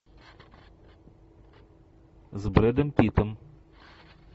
с брэдом питтом